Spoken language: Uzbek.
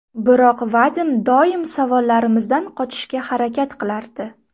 Biroq Vadim doim savollarimizdan qochishga harakat qilardi.